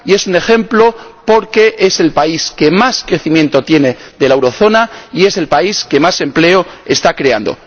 Y es un ejemplo porque es el país que más crecimiento tiene de la zona del euro y es el país que más empleo está creando.